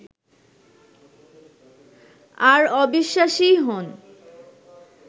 আর অবিশ্বাসীই হোন